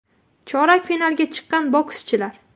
Chorak finalga chiqqan bokschilar !